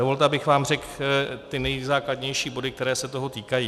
Dovolte, abych vám řekl ty nejzákladnější body, které se toho týkají.